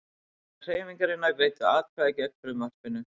Þingmenn Hreyfingarinnar greiddu atkvæði gegn frumvarpinu